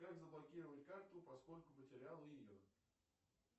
как заблокировать карту поскольку потерял ее